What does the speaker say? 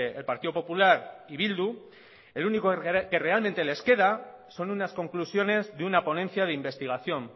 el partido popular y bildu el único que realmente les queda son unas conclusiones de una ponencia de investigación